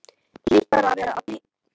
Hlýt bara að vera að bilast.